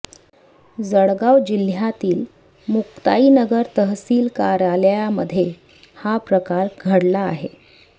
जळगाव जिल्ह्यातील मुक्ताईनगर तहसील कार्यालयामध्ये हा प्रकार घडला आहे